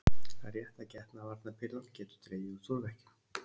Það er rétt að getnaðarvarnarpillan getur dregið úr túrverkjum.